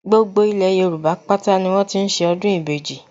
Gbogbo ilẹ̀ Yorùbá pátá ni wọ́n ti ń ṣe ọdún ìbejì